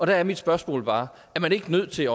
der er mit spørgsmål bare er man ikke nødt til